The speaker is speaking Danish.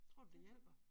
Tror du det hjælper?